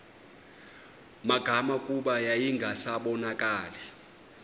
magama kuba yayingasabonakali